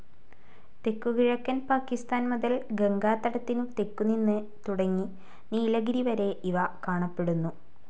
തെക്കുകിഴക്കൻ പാകിസ്താൻ മുതൽ ഗംഗാതടത്തിനു തെക്കു നിന്നു തുടങ്ങി നീലഗിരി വരെ ഇവ കാണപ്പെടുന്നു.